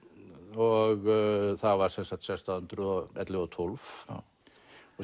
og það var sem sagt sextán hundruð og ellefu og tólf og